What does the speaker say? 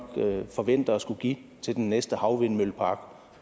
forventer at skulle give til den næste havvindmøllepark på